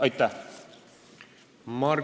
Aitäh!